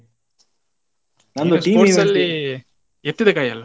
ನಂದು sports ಅಲ್ಲಿ ಎತ್ತಿದ ಕೈ ಅಲ್ಲ.